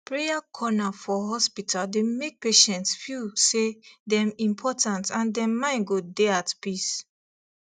prayer corner for hospital dey make patients feel say dem important and dem mind go dey at peace